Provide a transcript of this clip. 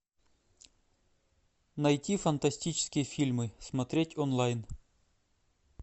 найти фантастические фильмы смотреть онлайн